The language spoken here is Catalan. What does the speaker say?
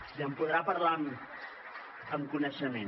i en podrà parlar amb coneixement